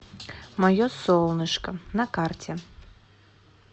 мое солнышко на карте